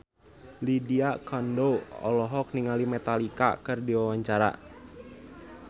Lydia Kandou olohok ningali Metallica keur diwawancara